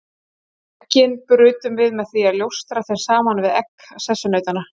Eggin brutum við með því að ljósta þeim saman við egg sessunautanna.